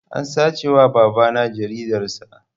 An sace wa babana jaridar sa